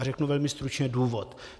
A řeknu velmi stručně důvod.